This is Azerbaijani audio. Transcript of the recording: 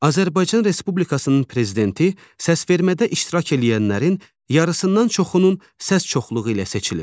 Azərbaycan Respublikasının Prezidenti səsvermədə iştirak eləyənlərin yarısından çoxunun səs çoxluğu ilə seçilir.